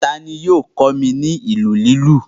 Ta ni yóò kọ́ mi ìlù lílù?